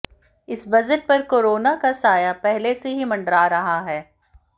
इस बजट पर कोरोना का साया पहले से ही मंडरा रहा है